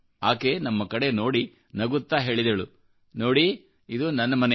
ಆಕೆನಮ್ಮ ಕಡೆ ನೋಡಿ ನಗುತ್ತಾ ಹೇಳಿದಳು ನೋಡಿ ಇದು ನನ್ನ ಮನೆ